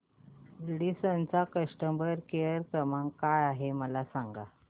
Radisson चा customer care क्रमांक काय आहे मला सांगा